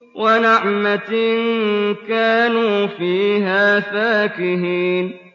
وَنَعْمَةٍ كَانُوا فِيهَا فَاكِهِينَ